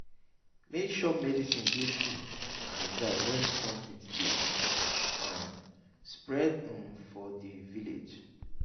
make sure medicin dey cool and dry wen strong heat dey um spread um for di village.